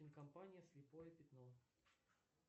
компания слепое пятно